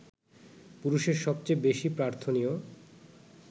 পুরুষের সবচেয়ে বেশি প্রার্থনীয়